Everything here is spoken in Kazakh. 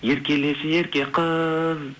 еркелеші ерке қыз